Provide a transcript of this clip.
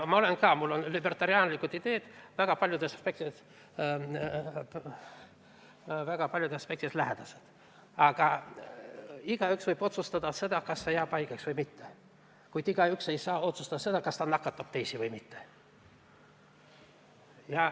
Ka mulle on libertaanlikud ideed väga paljudes aspektides lähedased, aga igaüks võib ise otsustada selle üle, kas ta riskib haigeks jäämisega või mitte, kuid igaüks ei tohiks otsustada selle üle, kas ta nakatab teisi või mitte.